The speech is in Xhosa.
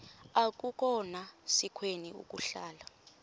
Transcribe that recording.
akukhona sikweni ukuhlala